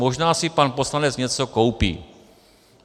Možná si pan poslanec něco koupí.